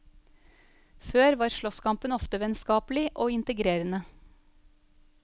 Før var slåsskampen ofte vennskapelig og integrerende.